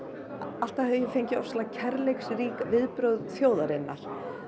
alltaf hef ég fengið kærleiksrík viðbrögð þjóðarinnar